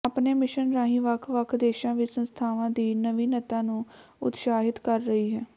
ਆਪਣੇ ਮਿਸ਼ਨ ਰਾਹੀਂ ਵੱਖ ਵੱਖ ਦੇਸ਼ਾਂ ਵਿਚ ਸੰਸਥਾਵਾਂ ਦੀ ਨਵੀਨਤਾ ਨੂੰ ਉਤਸ਼ਾਹਿਤ ਕਰ ਰਹੀ ਹੈ